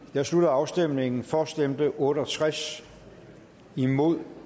jeg slutter afstemningen for stemte otte og tres imod